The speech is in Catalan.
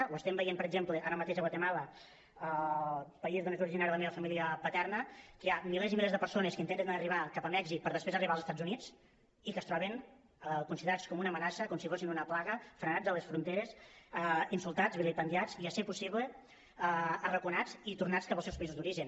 ho estem veient per exemple ara mateix a guatemala el país d’on és originària la meva família paterna que hi ha milers i milers de persones que intenten arribar a mèxic per després arribar als estats units i que es troben considerats com una amenaça com si fossin una plaga frenats a les fronteres insultats vilipendiats i si és possible arraconats i tornats cap als seus països d’origen